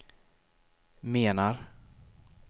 menar